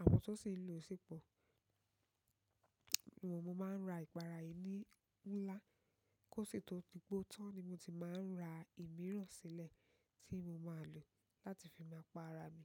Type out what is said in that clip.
Àwọn tó sì ń lò ó sì pọ̀. Mo máa ń ra ìpara yìí ní ńlá. Kó sì tó di pẹ o tán ni mo ti máa ń ra ìmíràn sílẹ̀ tí mo máa lò láti fi máa pa ara mi.